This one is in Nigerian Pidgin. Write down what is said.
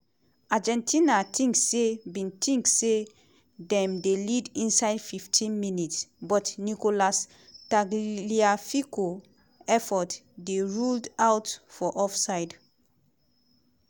argentina think say bin think say dem dey lead inside 15 minutes but nicolas tagliafico effort dey ruled out for offside.